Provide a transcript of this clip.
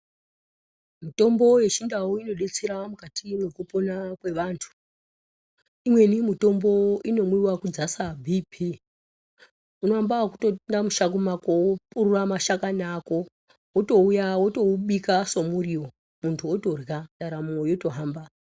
Mitombo yechindau inobetsera mukati mwekupona kwevantu imweni mitombo inomwiva kudzasa bp. Unoamba nekutoenda mishango mako vopurura mashakani ako votouya votoubika somurivo muntu votorya ndaramo yotohamba.